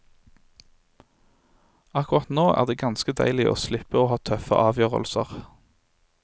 Akkurat nå er det ganske deilig å slippe å ta tøffe avgjørelser.